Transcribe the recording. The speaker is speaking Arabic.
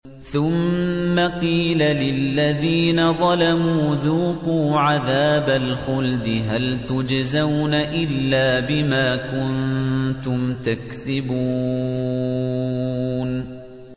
ثُمَّ قِيلَ لِلَّذِينَ ظَلَمُوا ذُوقُوا عَذَابَ الْخُلْدِ هَلْ تُجْزَوْنَ إِلَّا بِمَا كُنتُمْ تَكْسِبُونَ